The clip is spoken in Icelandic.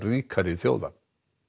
ríkari þjóða